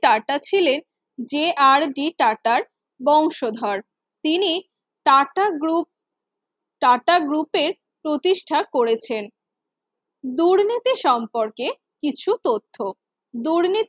tata ছিলেন যে R D টাটার বংশধর তিনি টাটা Group টাটা গ্রুপের প্রতিষ্ঠা করেছেন দুর্নীতি সম্পর্কে কিছু তথ্য দুর্নীতি